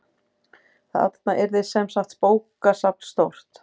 Þarna yrði semsagt bókasafn stórt.